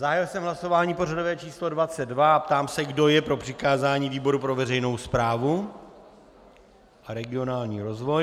Zahájil jsem hlasování pořadové číslo 22 a ptám se, kdo je pro přikázání výboru pro veřejnou správu a regionální rozvoj.